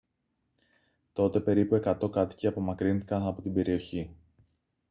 τότε περίπου 100 κάτοικοι απομακρύνθηκαν από την περιοχή